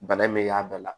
Bana in mɛ y'a bɛɛ la